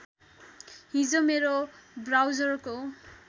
हिजो मेरो ब्राउजरको